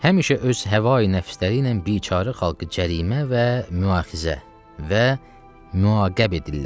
Həmişə öz həva-i nəfsləri ilə biçarə xalqı cərimə və müaxizə və müaqəb edirlər.